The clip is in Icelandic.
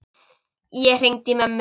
Ég hringdi í mömmu.